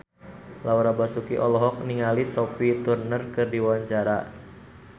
Laura Basuki olohok ningali Sophie Turner keur diwawancara